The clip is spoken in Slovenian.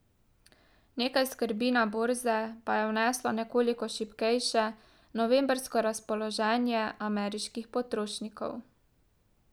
Nekaj skrbi na borze pa je vneslo nekoliko šibkejše novembrsko razpoloženje ameriških potrošnikov.